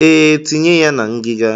Ee, tinye ya na ngiga.